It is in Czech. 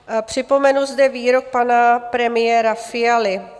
Připomenu zde výrok pana premiéra Fialy.